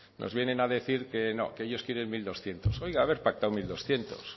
nos vienen a decir que ellos quieren mil doscientos oiga haber pactado mil doscientos